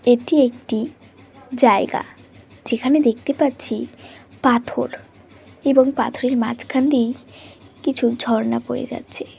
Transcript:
এটি একটিজায়গাযেখানে দেখতে পাচ্ছি পাথরএবং পাথরের মাঝখান দিয়েই কিছু ঝরনা বয়ে যাচ্ছে।